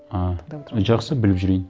а жақсы біліп жүрейін